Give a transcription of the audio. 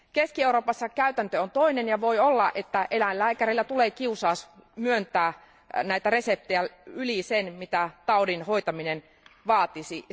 Keski Euroopassa käytäntö on toinen, ja voi olla, että eläinlääkäreille tulee kiusaus myöntää näitä reseptejä yli sen, mitä taudin hoitaminen vaatisi.